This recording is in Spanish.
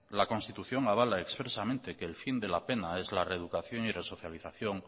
la constitución avala expresamente que el fin de la pena es la reeducación y resocialización